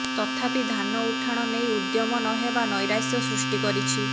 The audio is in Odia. ତଥାପି ଧାନ ଉଠାଣ ନେଇ ଉଦ୍ୟମ ନହେବା ନୈରାଶ୍ୟ ସୃଷ୍ଟି କରିଛି